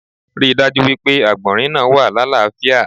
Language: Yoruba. Rí dájú wípé àgbònrín náa wà lalafia